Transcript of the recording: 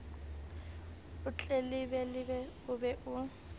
o tletlebe o be o